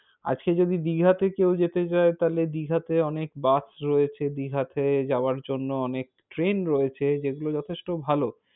আজকে যদি দিঘাতে কেউ যেতে চায় তাহলে দীঘাতে অনেক bus রয়েছে দীঘাতে যাবার জন্য অনেক train রয়েছে। যেগুলো যথেষ্ট ভালো।